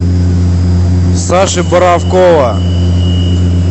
саши боровкова